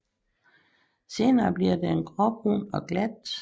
Senere bliver den gråbrun og glat